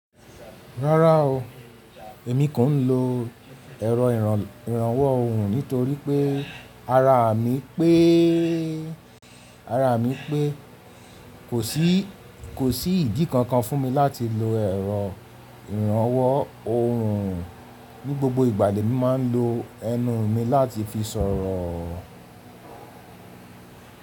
Rárá o, èmi kò ń lo ẹ̀rọ ìrànwọ́ ohùn nítorí pé ara mi péé, ara mi pé kò sí, kò sí ìdí kankan fún mi láti lo ẹ̀rọ ìrànwọ́ ohùn. Ní gbogbo ìgbà lè mi máa ń lo ẹnu mi láti fi sọ̀rọ̀.